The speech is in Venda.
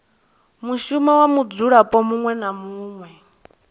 mushumo wa mudzulapo muṅwe na